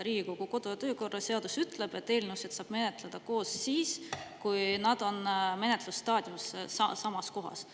Riigikogu kodu- ja töökorra seadus ütleb, et eelnõusid saab menetleda koos siis, kui nad on menetlusstaadiumis samas kohas.